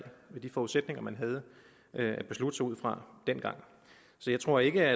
med de forudsætninger man havde at beslutte sig ud fra dengang jeg tror ikke